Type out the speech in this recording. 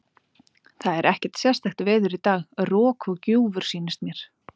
Það er ekkert sérstakt veður í dag, rok og gjúfur sýnist mér.